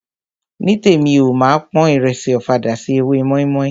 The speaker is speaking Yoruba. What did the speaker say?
Nítèmi o, máa pon ìrẹsì ọ̀fadà sí ewé mọ́ímọ́í.